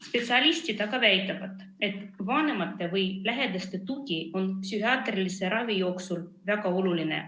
Spetsialistid väidavad, et vanemate või lähedaste tugi on psühhiaatrilise ravi jooksul väga oluline.